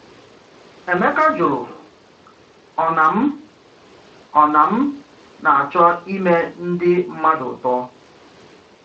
Emeka jụrụ: “Ọ̀ na m “Ọ̀ na m na-achọ ị̀me ndị mmadụ ùtò?”